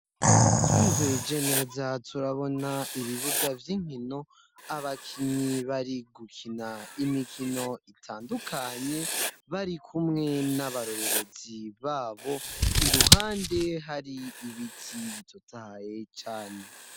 Twihweje neza turabona ibibuga vy'inkino abakinyi bari gukina imikino itandukanye bari kumwe n'abarorerezi babo iruhande hari ibiti bitutaye cane.